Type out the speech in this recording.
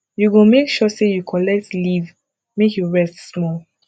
you go make sure sey you collect leave make you rest small